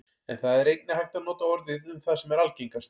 en það er einnig hægt að nota orðið um það sem er algengast